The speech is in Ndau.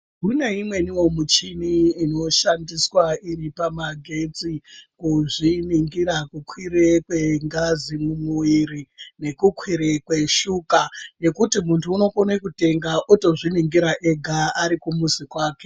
Kune imweniwo michini inoshandiswa iri pamagetsi kuzviningira kukwire kwengazi mumwiri nekukwire kweshuka ngekuti muntu unokone kutenga otozviningira ega ari kumuzi kwake.